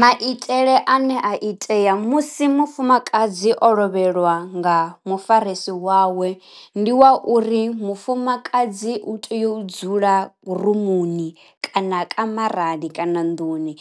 Maitele ane a itea musi mufumakadzi o lovheliwa nga mufarisi wawe, ndi wa uri mufumakadzi u tea u dzula rimuni kana kamarani kana nnḓuni